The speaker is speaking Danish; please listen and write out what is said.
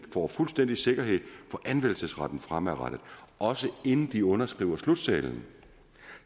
får fuldstændig sikkerhed for anvendelsesretten fremadrettet også inden de underskriver slutsedlen